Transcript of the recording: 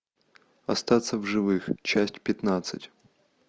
остаться в живых часть пятнадцать